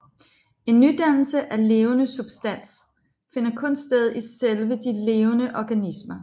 En nydannelse af levende substans finder kun sted i selve de levende organismer